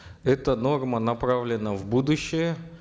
эта норма направлена в будущее